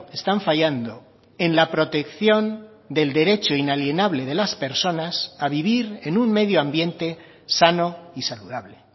están fallando en la protección del derecho inalienable de las personas a vivir en un medio ambiente sano y saludable